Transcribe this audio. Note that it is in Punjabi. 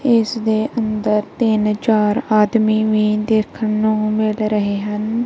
ਇੱਸ ਦੇ ਅੰਦਰ ਤਿੰਨ ਚਾਰ ਆਦਮੀ ਵੀ ਦੇਖਣ ਨੂੰ ਮਿਲ ਰਹੇ ਹਨ।